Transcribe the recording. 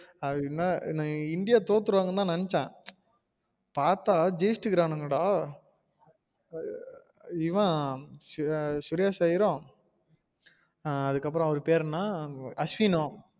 அது என்ன இ இந்தியா தோதிருவங்கனு நினச்சேன் பாத்தா ஜெயிச்சிட்டு இருக்கான்கடா இவன் ஷ்ரேயஸ் அய்யரும் ஆஹ் அதுக்கு அப்ரோ அவரு பேரு என்ன அச்வின்னும்